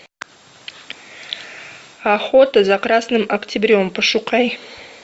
охота за красным октябрем пошукай